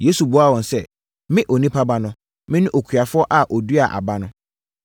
Yesu buaa wɔn sɛ, “Me Onipa Ba no, mene okuafoɔ a ɔduaa aba no.